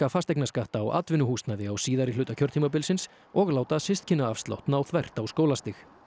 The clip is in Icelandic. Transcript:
fasteignaskatta á atvinnuhúsnæði á síðari hluta kjörtímabilsins og láta systkinaafslátt ná þvert á skólastig